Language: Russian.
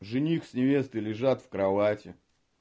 жених с невестой лежат в кровати